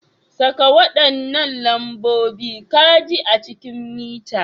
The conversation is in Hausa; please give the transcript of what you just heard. Saka waɗannan lambobin caji a cikin mita.